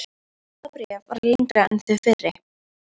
Næsta bréf var lengra en þau fyrri.